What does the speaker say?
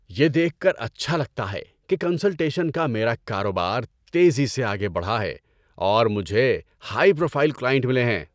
یہ دیکھ کر اچھا لگتا ہے کہ کنسلٹیشن کا میرا کاروبار تیزی سے آگے بڑھا ہے اور مجھے ہائی پروفائل کلائنٹ ملے ہیں۔